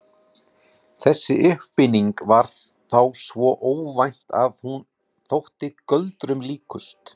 Þessi uppfinning var þá svo óvænt að hún þótti göldrum líkust.